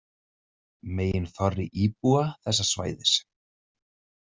Meginþorri íbúa þessa svæðis.